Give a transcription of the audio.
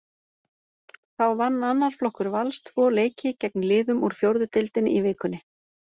Þá vann annar flokkur Vals tvo leiki gegn liðum úr fjórðu deildinni í vikunni.